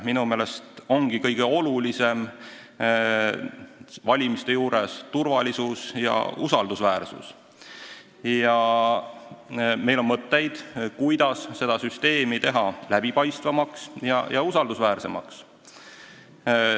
Minu meelest ongi valimiste puhul kõige tähtsam turvalisus ja usaldusväärsus ning meil on mõtteid, kuidas teha süsteem läbipaistvamaks ja usaldusväärsemaks.